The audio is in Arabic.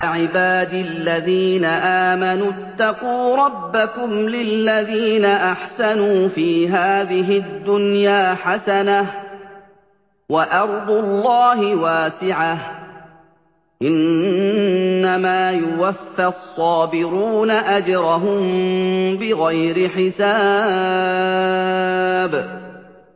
قُلْ يَا عِبَادِ الَّذِينَ آمَنُوا اتَّقُوا رَبَّكُمْ ۚ لِلَّذِينَ أَحْسَنُوا فِي هَٰذِهِ الدُّنْيَا حَسَنَةٌ ۗ وَأَرْضُ اللَّهِ وَاسِعَةٌ ۗ إِنَّمَا يُوَفَّى الصَّابِرُونَ أَجْرَهُم بِغَيْرِ حِسَابٍ